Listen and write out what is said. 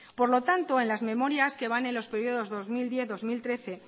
por lo tanto en las memorias que van en los periodos dos mil diez dos mil trece